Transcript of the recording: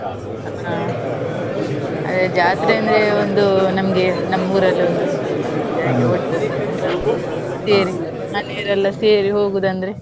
ಆ ಅದೇ ಜಾತ್ರೆ ಅಂದ್ರೆ ಒಂದು ನಮ್ಗೆ ನಮ್ಮ್ ಊರಲ್ಲಿ ಒಂದು, ಸೇರಿ ಮನೆಯವರೆಲ್ಲ ಸೇರಿ ಹೋಗುದು ಅಂದ್ರೆ.